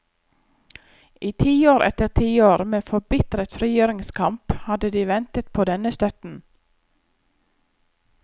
I tiår etter tiår med forbitret frigjøringskamp hadde de ventet på denne støtten.